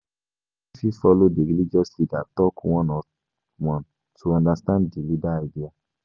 Person fit follow di religious leader talk one on one to understand di leader idea